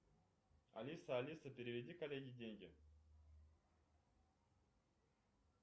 алиса алиса переведи коллеге деньги